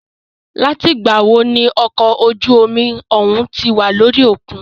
Láti ìgbà wo ní okọ̀ ojú omi òhún tí wà lórí òkun?